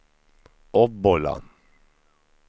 Obbola